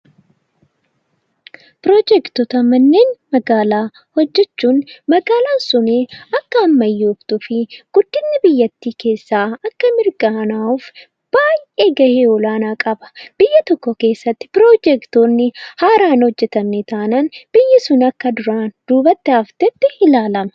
Piroojektota manneen magaalaa hojjechuun magaalaan suni akka ammayyoomtuu fi guddinni biyyattii akka mirkanaa'uuf baay'ee gahee olaanaa qaba. Biyya tokko keessatti piroojektoonni haaraa hin hojjetamne taanaan biyyi sun akka duraan duubatti haftetti ilaalama.